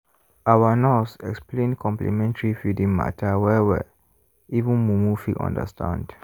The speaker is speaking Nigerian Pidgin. our nurse explain complementary feeding matter well-well even mumu fit understand.